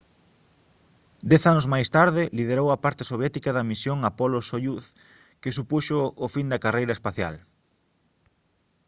dez anos máis tarde liderou a parte soviética da misión apollo-soyuz que supuxo o fin da carreira espacial